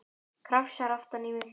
Krafsar aftan í mig.